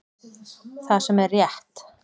Það sem er rétt